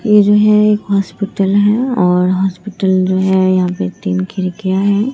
यह जो है एक हॉस्पिटल है और हॉस्पिटल जो है यहां पे तीन खिड़कियां हैं।